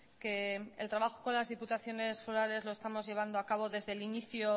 que el trabajo con las diputaciones forales lo estamos llevando a cabo desde el inicio